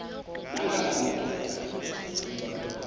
nanga madoda kuba